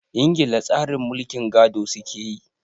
Ingila tsarin mulkin gado su ke yi.